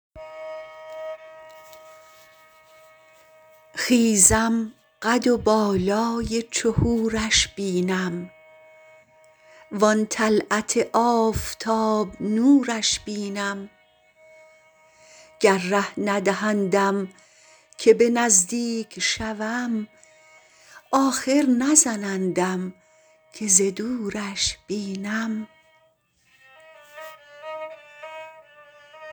خیزم قد و بالای چو حورش بینم وآن طلعت آفتاب نورش بینم گر ره ندهندم که به نزدیک شوم آخر نزنندم که ز دورش بینم